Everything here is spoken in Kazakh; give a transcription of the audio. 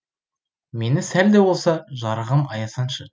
мені сәл де болса жарығым аясаңшы